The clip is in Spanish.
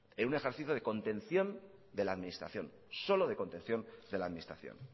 en un ejercicio de contención de la administración solo de contención de la administración